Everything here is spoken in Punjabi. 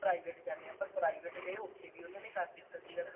private ਜਾਨੇ ਆ ਪਰ ਆ private ਗਏ ਉੱਥੇ ਵੀ ਉਹਨਾ ਨੇ ਕਰ ਦਿੱਤਾ ਸੀਗਾ